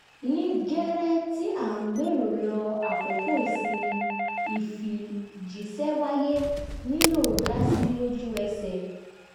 ní gẹ́rẹ́ tí à ń gbèrò lọ àkókò ìsinmi ìfijíṣẹ́ wáyé nílò dásí lójú ẹsẹ̀